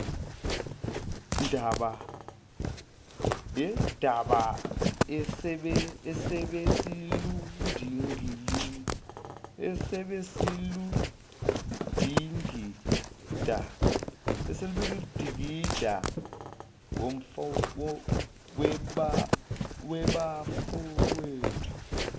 daba ebesiludingida webafowethu